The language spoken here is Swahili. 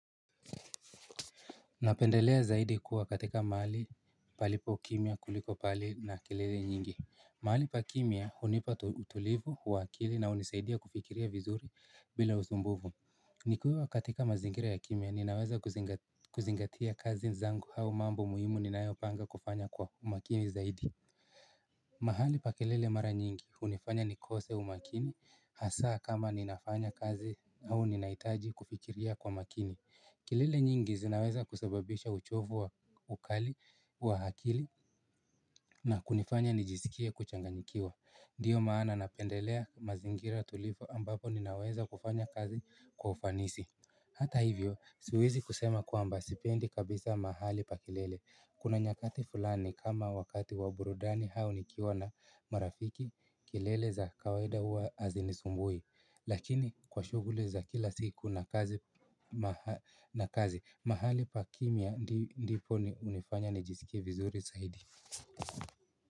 Napendelea zaidi kuwa katika mahali palipo kimya kuliko pahali na kelele nyingi. Mahali pa kimya unipa utulivu, huwakili na unisaidia kufikiria vizuri bila usumbuvu. Nikiwa katika mazingira ya kimya ninaweza kuzingatia kazi zangu hau mambo muhimu ninayopanga kufanya kwa umakini zaidi. Mahali pa kelele mara nyingi unifanya nikose umakini hasa kama ninafanya kazi au ninaitaji kufikiria kwa makini. Kelele nyingi zinaweza kusababisha uchovu wa ukali wa akili na kunifanya nijisikie kuchanganyikiwa Dio maana napendelea mazingira tulifu ambapo ninaweza kufanya kazi kwa ufanisi Hata hivyo, siwezi kusema kwamba sipendi kabisa mahali pa kelele Kuna nyakati fulani kama wakati wa burudani hau nikiwa na marafiki kelele za kawaida hua azinisumbui Lakini kwa shuguli za kila siku na kazi mahali pa kimya ndipo unifanya nijisikie vizuri saidi.